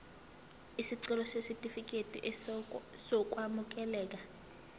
isicelo sesitifikedi sokwamukeleka